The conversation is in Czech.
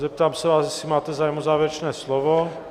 Zeptám se vás, jestli máte zájem o závěrečné slovo.